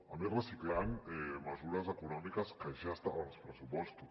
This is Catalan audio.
a més reciclant mesures econòmiques que ja estaven als pressupostos